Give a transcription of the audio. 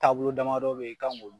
Taabolo damadɔ bɛ ye i kan k'o